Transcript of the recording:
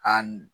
A n